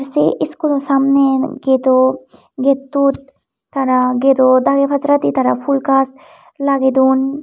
se school o samne gatettut tara gate o dage pajaradi tara phool gaj lagey dun.